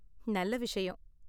நல்ல விஷயம்.